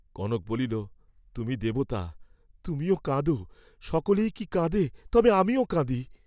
কনক বলিল, তুমি দেবতা, তুমিও কাঁদ, সকলেই কি কাঁদে, তবে আমিও কাঁদি।